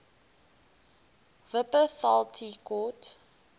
wupperthal tea court